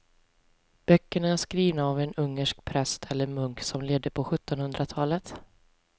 Böckerna är skrivna av en ungersk präst eller munk som levde på sjuttonhundratalet.